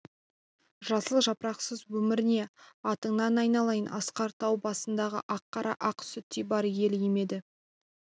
жасыл жапырақсыз өмір не атыңнан айналайын асқар тау басындағы ақ қар ақ сүттей бар ел емеді